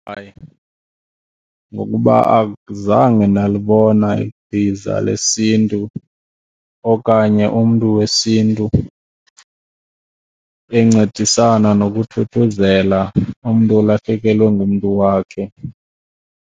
Hayi, ngokuba azange ndalibona ichiza lesiNtu okanye umntu wesiNtu encedisana nokuthuthuzela umntu olahlekelwe ngumntu wakhe.